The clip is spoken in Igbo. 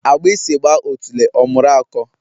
Agbasi gba otule omuru ako